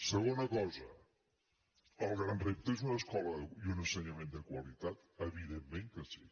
segona cosa el gran repte és una escola i un ensenyament de qualitat evidentment que sí